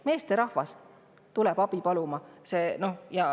" Meesterahvad tulevad abi paluma!